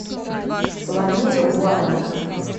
саломея уайльда